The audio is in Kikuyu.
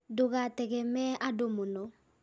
Ndũgategemee andũ mũno